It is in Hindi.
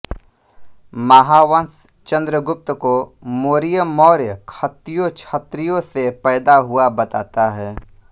महावंश चन्द्रगुप्त को मोरिय मौर्य खत्तियों क्षत्रियों से पैदा हुआ बताता है